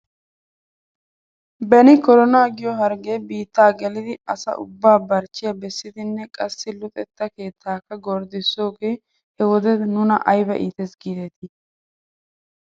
Beni koronaa giyoo hargee biittaa gelidi asaaubbaa barchchiyaa bessiddinne qassi luxetta keettaakka gorddissidoogee he wode nuna ayba iitis giidetii .